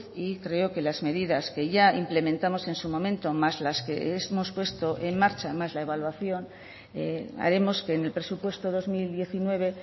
y creo que las medidas que ya implementamos en su momento más las que hemos puesto en marcha más la evaluación haremos que en el presupuesto dos mil diecinueve